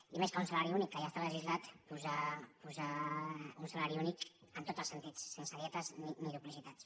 i més que un salari únic que ja està legislat posar un salari únic en tots els sen·tits sense dietes ni duplicitats